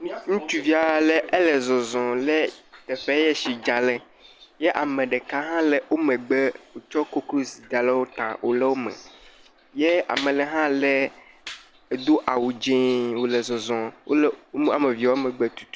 Ŋutsuvi ale, ele zɔzɔ le teƒe yɛ tsi dza le, yɛ ame ɖeka hã le wo megbe tsɔ koklozi da le wo ta wòle wome. Yɛ ame le hã lé, do awu dzẽee wòle zɔzɔ. Wole, woame eve wole megbe tutu.